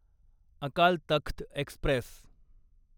Akal Takht Express